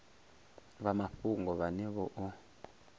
vha mafhungo vhane vha o